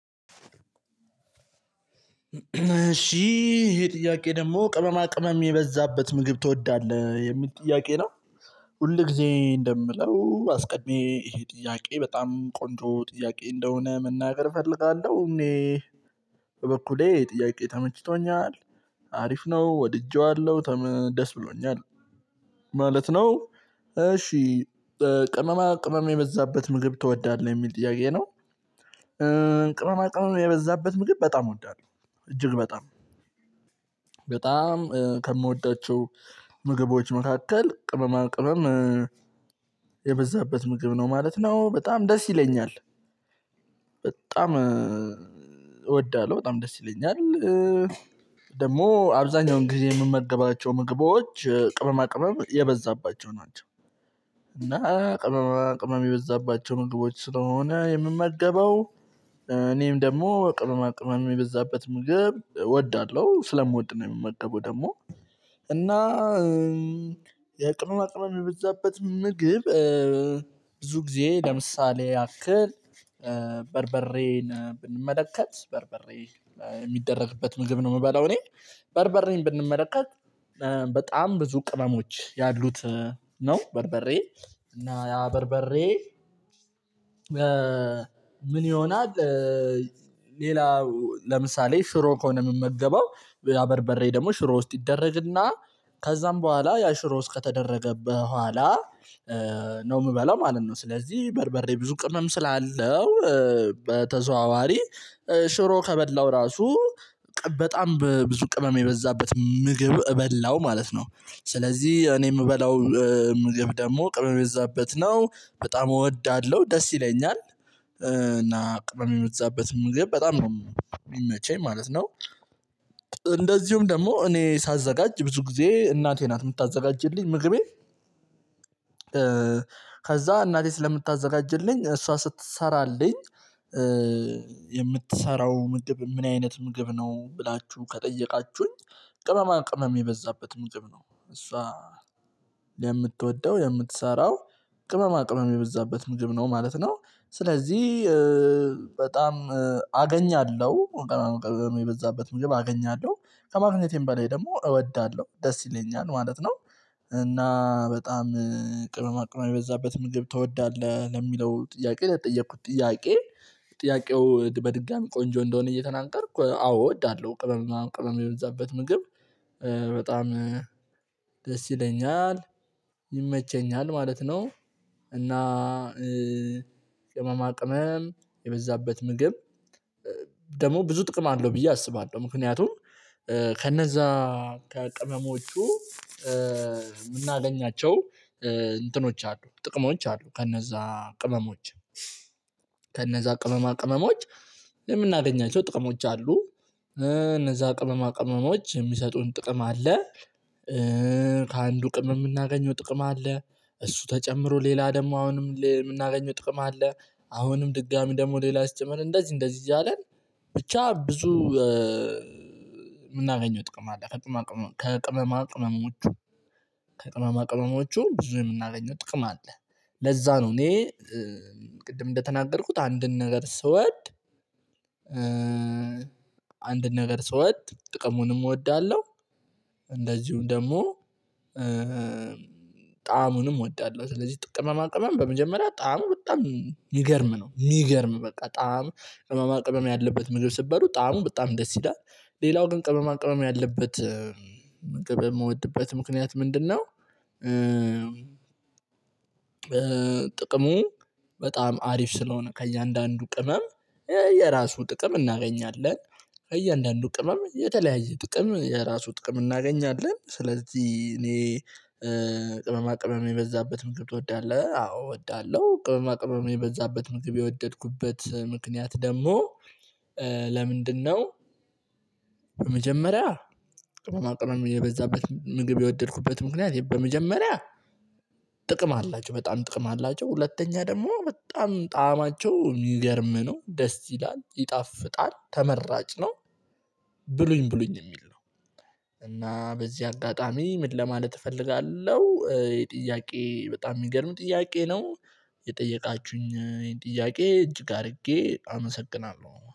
እሺ ይሄ ጥያቄ ደግሞ ቅመማ ቅመም የበዛበት ምግብ ትወዳለህ? የሚል ጥያቄ ነው። ሁል ጊዜ እንደምለው አስቀድሜ ይሄ ጥያቄ በጣም ቆንጆ ጥያቄ እንደሆነ መናገር እፈልጋለሁ። እኔ በበኩሌ ይሄ ጥያቄ ተመችቶኛል። አሪፍ ነው። ወድጄዋለሁ ደስ ብሎኛል ማለት ነው። እሺ ቅመማ ቅመም የበዛበት ምግብ ትወዳለህ የሚል ጥያቄ ነው። ቅመማ ቅመም የበዛበት ምግብ በጣም እወዳለሁ፤ እጅግ በጣም። በጣም ከምወዳቸው ምግቦች መካከል ቅመማ ቅመም የበዛበት ምግብ ነው ማለት ነው። በጣም ደስ ይለኛል። በጣም እወዳለሁ። በጣም ደስ ይለኛል። ደግሞ አብዛኛውን ጊዜ የምመገባቸው ምግቦች ቅመማ ቅመም የበዛባቸው ናቸው። እና ቅመማ ቅመም የበዛባቸው ምግቦች ስለሆነ የምመገበው እኔም ደግሞ ቅመማ ቅመማ የበዛበት ምግብ እወዳለሁ። ስለምወድ ነው የምመገበው ደግሞ። እና የቅመማ ቅመም በዛበት ምግብ ብዙ ጊዜ ለምሳሌ ያክል በርበሬን ብንመለከት በርበሬ የሚደረግበት ምግብ ነው የምበላው እኔ። በርበሬን ብንመለከት በጣም ብዙ ቅመሞች ያሉት ነው በርበሬ። እና ያ በርበሬ ምን ይሆናል ሌላ ለምሳሌ ሽሮ ከሆነ የምመገበው ያ በርበሬ ደግሞ ሽሮ ውስጥ ይደረግና ከዛም በኋላ ያ ሽሮ ውስጥ ከተደረገበት በኋላ ነው የምበለው ማለት ነው። ስለዚህ በርበሬ ብዙ ቅመም ስላለው በተዘዋዋሪ ሽሮ ከበላሁ ራሱ በጣም በብዙ ቅመም የበዛበት ምግብ በላው ማለት ነው። ስለዚህ እኔ የምበላው ምግብ ደግሞ ቅመም የበዛበት ነው። በጣም እወዳለሁ፤ ደስ ይለኛል። እና ቅመም የዛበት ምግብ በጣም ነው የሚመቸኝ ማለት ነው። እንደዚሁም ደግሞ እኔ ሳዘጋጅ ብዙ ጊዜ እናቴ ናት የምታዘጋጅልኝ ምግቤን። ከዛ እናቴ ስለምታዘጋጅልኝ እሷ ስትሰራልኝ የምትሰራው ምግብ ምን አይነት ምግብ ነው? ብላችሁ ከጠየቃችሁኝ ቅመማ ቅመም የበዛበት ምግብ ነው። እሷ የምትወደው የምትሰራው ቅመማ ቅመም የበዛበት ምግብ ነው ማለት ነው። ስለዚህ በጣም አገኛለሁ ቅመማ ቅመም የበዛበት ምግብ አገኛለሁ። ከማግኘቴም በላይ ደግሞ እወዳለሁ፤ ደስ ይለኛል ማለት ነው። እና በጣም ቅመማ ቅመም የበዛበት ምግብ ትወዳለህ ለሚለው ጥያቄ ለተጠየቅኩት ጥያቄ ጥያቄው በድጋሚ ቆንጆ እንደሆነ እየተናገርኩ አዎ እወዳለሁ። ቅመም ቅመም የበዛበት ምግብ በጣም ደስ ይለኛል፤ ይመቸኛል ማለት ነው። እና ቅመማ ቅመም የበዛበት ምግብ ደግሞ ብዙ ጥቅም አለው ብዬ አስባለሁ። ምክንያቱም ከነዛ ከቅመሞቹ የምናገኛቸው እንትኖች አሉ፤ ጥቅሞች አሉ ከነዛ ቅመሞች። ከነዛ ቅመማ ቅመሞች የምናገኛቸው ጥቅሞች አሉ። እነዛ ቅመማ ቅመሞች የሚሰጡን ጥቅም አለ። ከአንዱ ቅመም የምናገኘው ጥቅም አለ። እሱ ተጨምሮ ሌላ ደግሞ አሁንም የምናገኘው ጥቅም አለ። አሁንም ድጋሚ ደግሞ ሌላ ሲጨመር እንደዚህ እንደዚህ እያለ ብቻ ብዙ የምናገኘው ጥቅም አለ ከቅመማ ቅመሞቹ። ከቅመማ ቅመሞቹ ብዙ የምናገኘው ጥቅም አለ። ለዛ ነው እኔ ቅድም እንደተናገርኩት አንድን ነገር ስወድ አንድን ነገር ስወድ ጥቅሙንም እወዳለሁ። እንደዚሁም ደግሞ ጣዕሙንም እወዳለሁ። ስለዚህ ማቅመም ቅመም በመጀመሪያ ጣዕሙ በጣም የሚገርም ነው። የሚገርም በቃ ጣዕሙ ቅማማ ቅመም ያለበት ምግብ ስትበሉ ጣዕሙ በጣም ደስ ይላል። ሌላው ግን ቅመማ ቅመም ያለበት ምግብ የምወድመት ምክንያት ምንድነው ጥቅሙ በጣም አሪፍ ስለሆነ ከእያንዳንዱ ቅመም የራሱ ጥቅም እናገኛለን። ከእያንዳንዱ ቅመም የተለያየ ጥቅም የራሱ ጥቅም እናገኛለን። ስለዚህ እኔ ቅመማ ቅመም የበዛበት ምግብ ትወዳለህ? አዎ እወዳለሁ። ቅመማ ቅመም የበዛበት ምግብ የወደድኩበት ምክንያት ደግሞ ለምንድነው? በመጀመሪያ ቅመማ ቅመም የበዛበት ምግብ የወደድኩበት ምክንያት በመጀመሪያ ጥቅም አላቸው። በጣም ጥቅም አላቸው። ሁለተኛ ደግሞ በጣም ጣዕማቸው የሚገርም ነው። ደስ ይላል፤ ይጣፍጣል፤ ተመራጭ ነው። ብሉኝ ብሉኝ የሚል ነው። እና በዚህ አጋጣሚ ምን ለማለት እፈልጋለሁ? ይሄ ጥያቄ በጣም የሚገርም ጥያቄ ነው። የጠየቃችሁኝ ጥያቄ እጅ ጋር አድርጌ አመሰግናለሁ።